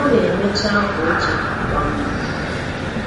O na-emecha akwa oche kwa mgbe